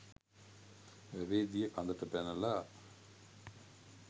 වැවේ දිය කඳට පැනලා